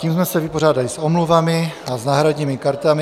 Tím jsme se vypořádali s omluvami a s náhradními kartami.